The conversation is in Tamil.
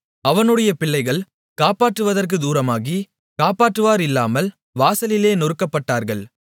அவனுடைய பிள்ளைகள் காப்பாற்றுவதற்குத் தூரமாகி காப்பாற்றுவாரில்லாமல் வாசலிலே நொறுக்கப்பட்டார்கள்